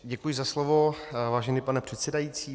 Děkuji za slovo, vážený pane předsedající.